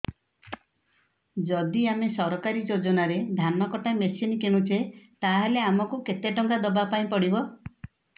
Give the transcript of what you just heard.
ଯଦି ଆମେ ସରକାରୀ ଯୋଜନାରେ ଧାନ କଟା ମେସିନ୍ କିଣୁଛେ ତାହାଲେ ଆମକୁ କେତେ ଟଙ୍କା ଦବାପାଇଁ ପଡିବ